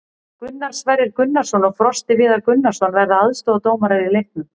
Gunnar Sverrir Gunnarsson og Frosti Viðar Gunnarsson verða aðstoðardómarar í leiknum.